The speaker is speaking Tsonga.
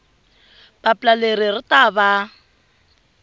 papila leri ri ta va